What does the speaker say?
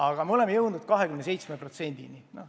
Nüüd oleme jõudnud 27%-ni.